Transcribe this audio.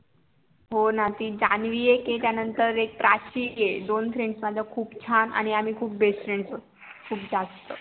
हो न ती जानवी एक तिचा नंतर एक प्राची हे दोन FRIENDS माझ्या खूप छान आणि आम्ही खूप BEST FRIENDS होतो खूप जास्त